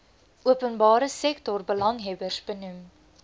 openbare sektorbelanghebbers benoem